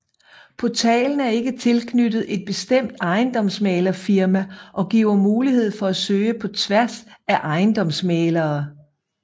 Portalen er ikke tilknyttet et bestemt ejendomsmæglerfirma og giver mulighed for at søge på tværs af ejendomsmæglere